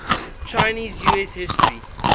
chinese us history